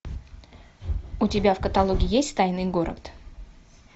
у тебя в каталоге есть тайный город